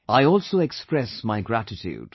I also express my gratitude